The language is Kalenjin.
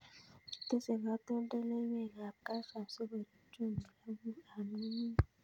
Kitese katoltoliwek ab Kalcium si korip chumbik ab ng'ung'unyek